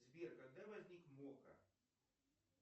сбер когда возник мокко